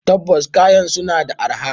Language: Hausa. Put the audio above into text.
Tabbas kayan suna da arha.